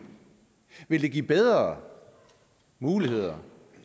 vil det give bedre muligheder